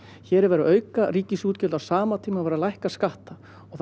hér er verið að auka ríkisútjgöld á sama tíma og verið er að lækka skatta og